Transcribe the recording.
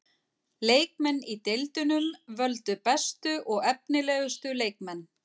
Leikmenn í deildunum völdu bestu og efnilegustu leikmenn.